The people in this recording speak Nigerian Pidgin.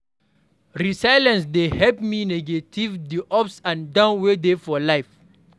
Resilience dey help me navigate di ups and downs wey dey for life.